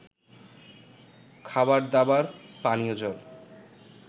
খাবারদাবার, পানীয় জল